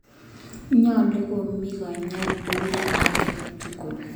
Nyalu komi kanyoik ulda ake tukul